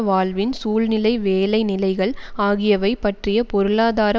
வாழ்வின் சூழ்நிலை வேலைநிலைகள் ஆகியவை பற்றிய பொருளாதார